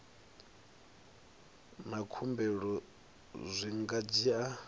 na khumbelo zwi nga dzhia